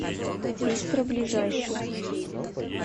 бистро ближайший